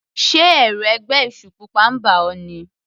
Sé ẹ̀rù ẹgbẹ́ èṣù pupa ń bà ọ́.